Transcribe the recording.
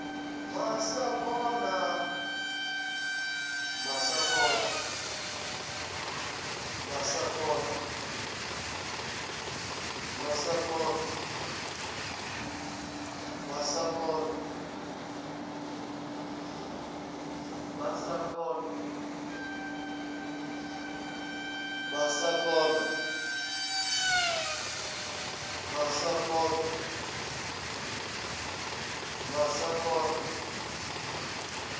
masakona